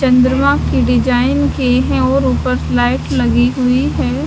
चंद्रमा की डिजाइन के है और ऊपर लाइट लगी हुई है।